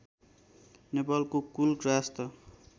नेपालको कुल गार्हस्थ्य